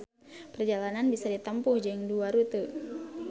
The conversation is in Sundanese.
Perjalanan bisa ditempuh jeung dua rute